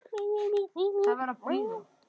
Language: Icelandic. Sækja hvað?